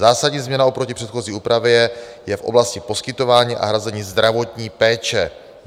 Zásadní změna oproti předchozí úpravě je v oblasti poskytování a hrazení zdravotní péče.